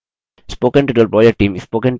spoken tutorial project team